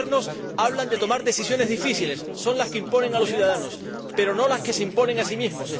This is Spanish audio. Los Gobiernos hablan de tomar decisiones difíciles son las que imponen a los ciudadanos, pero no las que se imponen a sí mismos.